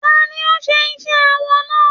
Ta ní o n ṣe iṣẹ awọ náà?